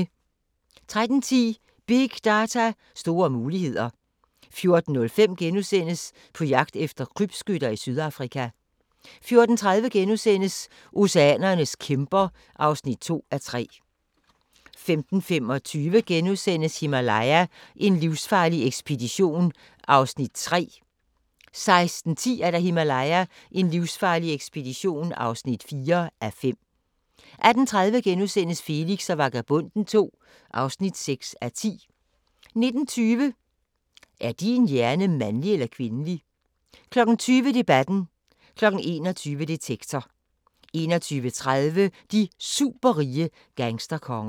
13:10: Big data, store muligheder 14:05: På jagt efter krybskytter i Sydafrika * 14:30: Oceanernes kæmper (2:3)* 15:25: Himalaya: en livsfarlig ekspedition (3:5)* 16:10: Himalaya: en livsfarlig ekspedition (4:5) 18:30: Felix og Vagabonden II (6:10)* 19:20: Er din hjerne mandlig eller kvindelig? 20:00: Debatten 21:00: Detektor 21:30: De superrige gangsterkonger